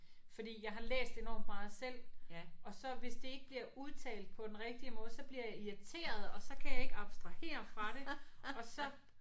Fordi jeg har læst enormt meget selv og så hvis det ikke bliver udtalt på den rigtige måde så bliver jeg irriteret og så kan jeg ikke abstrahere fra det og så